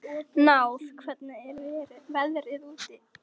Náð, hvernig er veðrið úti?